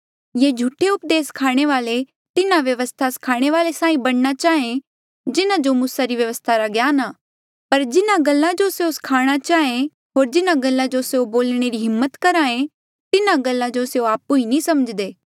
ये झूठे उपदेस स्खाणे वाले तिन्हा व्यवस्था स्खाणे वाल्ऐ साहीं बणना चाहें जिन्हा जो मूसा री व्यवस्था रा ज्ञान आ पर जिन्हा गल्ला जो स्यों स्खाणा चाहें होर जिन्हा गल्ला जो स्यों बोलणे री हिम्मत करहे तिन्हा गल्ला जो स्यों आपु नी समझ्दे